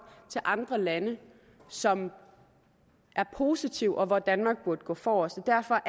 til andre lande som er positivt og hvor danmark burde gå forrest derfor